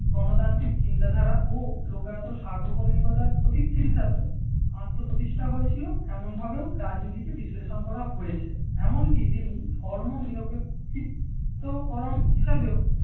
গণতান্ত্রিক চিন্তাধারা ও লোকাহত সার্বভৌমিকতার প্রতী আত্মপ্রতিষ্ঠা হয়েছিল এমন ভাবে ও রাজনীতিকে বিশ্লেষণ করা হয়েছে। এমনকি তিনি ধর্মনিরোপেক্ষিতকরণ হিসেবেও